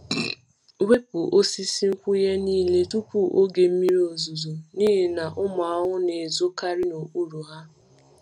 Wepu osisi nkwụnye niile tupu oge mmiri ozuzo n’ihi na ụmụ ahụhụ na-ezokarị n’okpuru ha.